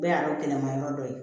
Bɛɛ y'a dɔn kɛlɛ ma yɔrɔ dɔ ye